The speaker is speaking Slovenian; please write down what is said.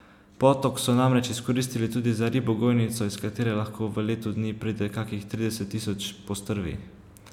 Potok so namreč izkoristili tudi za ribogojnico, iz katere lahko v letu dni pride kakih trideset tisoč postrvi.